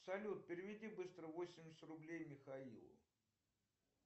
салют переведи быстро восемьдесят рублей михаилу